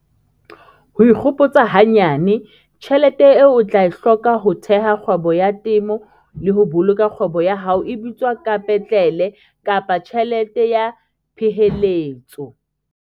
Ho ikgopotsa hanyane- Tjhelete eo o tla e hloka ho theha kgwebo ya temo le ho boloka kgwebo ya hao e bitswa kapetlele kapa tjhelete ya peheletso.